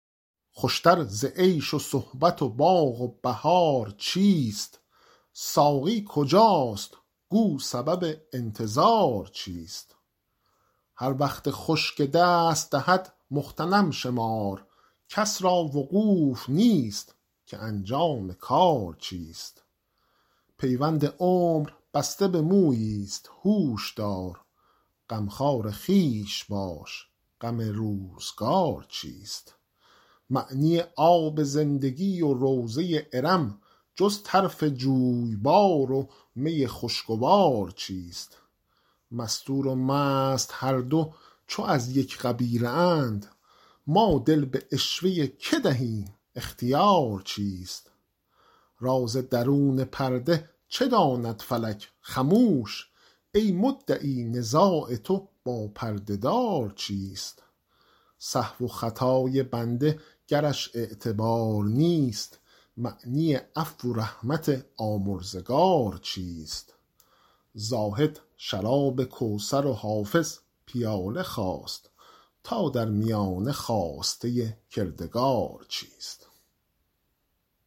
خوش تر ز عیش و صحبت و باغ و بهار چیست ساقی کجاست گو سبب انتظار چیست هر وقت خوش که دست دهد مغتنم شمار کس را وقوف نیست که انجام کار چیست پیوند عمر بسته به مویی ست هوش دار غمخوار خویش باش غم روزگار چیست معنی آب زندگی و روضه ارم جز طرف جویبار و می خوشگوار چیست مستور و مست هر دو چو از یک قبیله اند ما دل به عشوه که دهیم اختیار چیست راز درون پرده چه داند فلک خموش ای مدعی نزاع تو با پرده دار چیست سهو و خطای بنده گرش اعتبار نیست معنی عفو و رحمت آمرزگار چیست زاهد شراب کوثر و حافظ پیاله خواست تا در میانه خواسته کردگار چیست